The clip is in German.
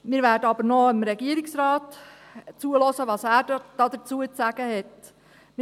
Wir werden aber noch zuhören, was der Regierungsrat dazu zu sagen hat.